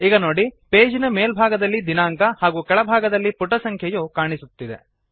ಈಗ ನೋಡಿ ಪೇಜ್ ನ ಮೇಲ್ಭಾಗದಲ್ಲಿ ದಿನಾಂಕ ಹಾಗೂ ಕೆಳಭಾಗದಲ್ಲಿ ಪುಟಸಂಖ್ಯೆಯು ಕಾಣುತ್ತಿದೆ